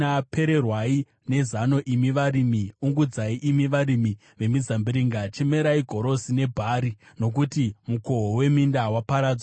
Pererwai nezano, imi varimi, ungudzai, imi varimi vemizambiringa, chemerai gorosi nebhari, nokuti mukohwo weminda waparadzwa.